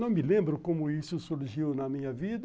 Não me lembro como isso surgiu na minha vida.